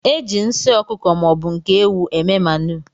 Eji nsị ọkụkọ maọbu nke ewụ eme manu.